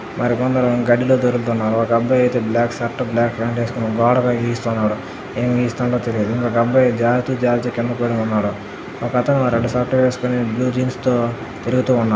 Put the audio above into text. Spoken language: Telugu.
మరికొందరు గడ్డిలో తిరుగుతున్నారు. ఒక అబ్బాయి అయితే బ్లాక్ షర్టు బ్లాక్ ప్యాంటు వేసుకుని గోడకవి గీస్తున్నాడు ఏం గీస్తున్నాడో తెలియదు ఇంకొక అబ్బాయి జారితూ జారుతూ కింద పడుతున్నాడు. ఒకతను రెడ్ షర్ట్ వేసుకుని బ్లూ జీన్స్ తో తిరుగుతూ ఉన్నాడు.